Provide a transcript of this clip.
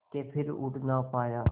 के फिर उड़ ना पाया